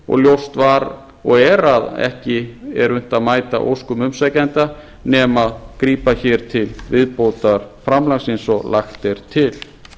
og ljóst var og er að ekki er unnt að mæta óskum umsækjenda nema grípa hér til viðbótarframlagsins og lagt er til